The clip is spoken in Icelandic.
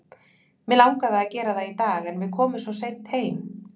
Mig langaði að gera það í dag en við komum svo seint heim.